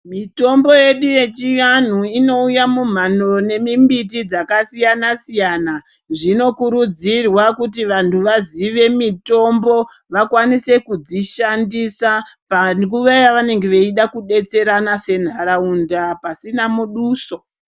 Mitombo yedu yechiandu inouya mumhando nemimbiti yakasiyana siyana zvinokurudzirwa kuti vantu vaziye mitombo vakwanise kudzishandisa panguwa yavanenge vachida kudetserana senharaunda pasina muduso.